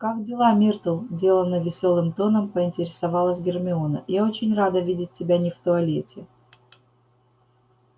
как дела миртл деланно весёлым тоном поинтересовалась гермиона я очень рада видеть тебя не в туалете